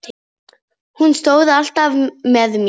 Hún stóð alltaf með mér.